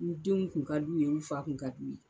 N denw kun ka d'u ye, n fa kun ka d'u ye.